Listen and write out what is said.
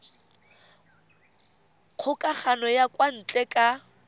kgokagano ya kwa ntle ka